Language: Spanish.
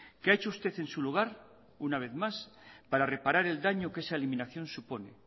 qué ha hecho usted en su lugar una vez más para reparar el daño que esa eliminación supone